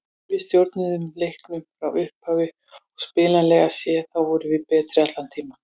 Við stjórnuðum leiknum frá upphafi og spilanlega séð þá vorum við betri allan tímann.